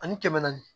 Ani kɛmɛ naani